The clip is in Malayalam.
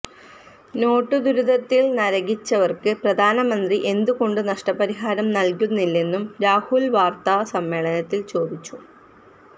നോട്ടുദുരിതത്തില് നരകിച്ചവര്ക്ക് പ്രധാനമന്ത്രി എന്തുകൊണ്ട് നഷ്ടപരിഹാരം നല്കുന്നില്ലെന്നും രാഹുല് വാര്ത്താ സമ്മേളനത്തില് ചോദിച്ചു